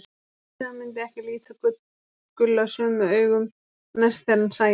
Hann vissi að hann myndi ekki líta Gulla sömu augum næst þegar hann sæi hann.